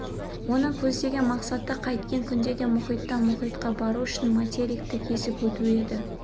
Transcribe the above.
оның көздеген мақсаты қайткен күнде де мұхиттан мұхитқа бару үшін материкті кесіп өту еді